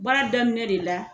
Baara daminɛ de la.